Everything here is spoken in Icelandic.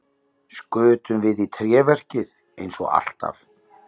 Skutum við í tréverkið eins og alltaf?